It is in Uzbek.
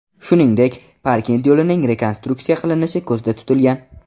Shuningdek, Parkent yo‘lining rekonstruksiya qilinishi ko‘zda tutilgan.